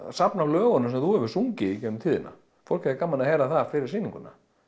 safn af lögunum sem þú hefur sungið í gegnum tíðina fólk hefði gaman af að heyra það fyrir sýninguna